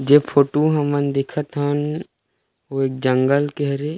जे फोटो हमन देखथ हन ओ एक जंगल के हरे--